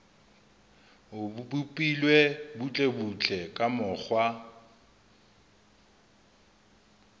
o bopilwe butlebutle ka mokgwa